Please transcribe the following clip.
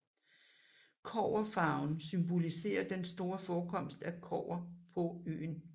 Kobberfarven symboliserer den store forekomst af kobber på øen